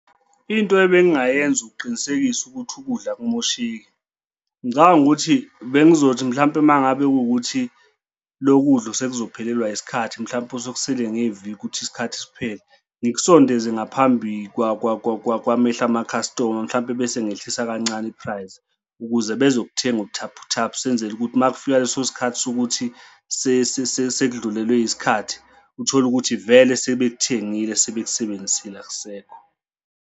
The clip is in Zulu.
Into ebengingayenza ukuqinisekisa ukuthi ukudla akungamosheki. Ngicabanga ukuthi bengizothi mhlampe uma ngabe kuwukuthi lo kudla sekuzophelelwa isikhathi mhlampe sekusele ngeviki ukuthi isikhathi siphele ngikusondele ngaphambi kwamehlo amakhastoma mhlawumbe bese ngehlisa kancane i-prize, ukuze bezokuthenga ubuthaphuthaphu senzele ukuthi uma kufika leso sikhathi sokuthi sekudlulelwe yisikhathi uthole ukuthi vele sebekuthengile sebekusebenzisile ukusekho.